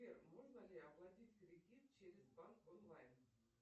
сбер можно ли оплатить кредит через банк онлайн